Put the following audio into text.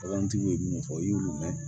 Bagantigiw ye minnu fɔ i y'olu mɛn